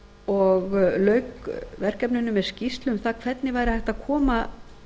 og lauk verkefninu með skýrslu um það hvernig væri hægt að koma